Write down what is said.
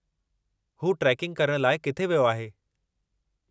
हू ट्रेकिंग करण लाइ किथे वियो आहे?